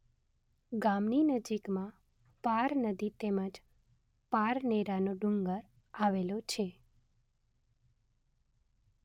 ગામની નજીકમાં પાર નદી તેમ જ પારનેરાનો ડુંગર આવેલો છે